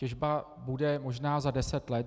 Těžba bude možná za deset let.